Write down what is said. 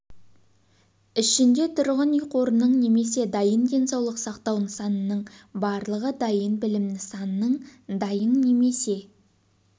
ішінде тұрғын үй қорының немесе дайын денсаулық сақтау нысанының барлығы дайын білім нысанының дайын немесе